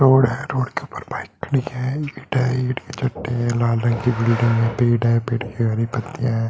Road है। Road के ऊपर बाइक खड़ी है। ईंट है ईंट के चट्टे हैं लाल रंग की बिल्डिंग है बाइक खड़ी है पेड़ है पेड़ की हरी पत्तियां हैं।